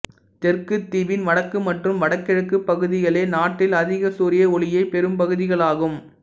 தெற்குத் தீவின் வடக்கு மற்றும் வடகிழக்குப் பகுதிகளே நாட்டில் அதிக சூரிய ஒளியைப் பெறும் பகுதிகளாகும்